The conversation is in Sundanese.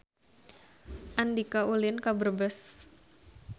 Andika ulin ka Brebes